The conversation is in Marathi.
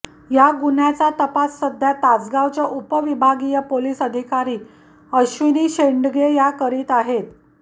या गुन्ह्याचा तपास सध्या तासगावच्या उपविभागीय पोलीस अधिकारी अश्विनी शेंडगे या करीत आहेत